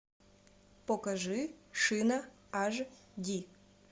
покажи шина аш ди